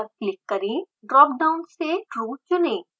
dropdown से true चुनें